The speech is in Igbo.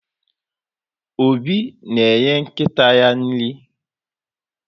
Obi na-enye nkịta ya nri.